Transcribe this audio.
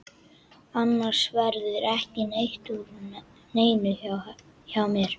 Annars verður ekki neitt úr neinu hjá mér.